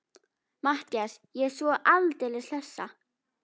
MATTHÍAS: Ég er svo aldeilis hlessa.